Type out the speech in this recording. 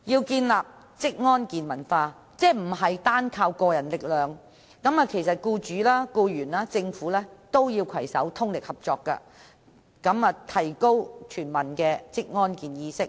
建立職安健文化不能單靠個人力量，僱主、僱員及政府均應攜手，合力提高全民的職安健意識。